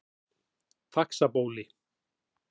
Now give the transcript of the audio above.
Faxabóli